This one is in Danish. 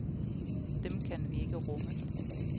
Dem kan vi ikke rumme.